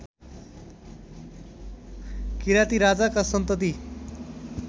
किराती राजाका सन्तति